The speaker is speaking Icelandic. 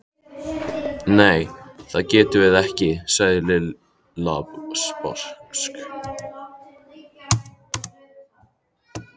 Nei, það getum við ekki sagði Lilla sposk.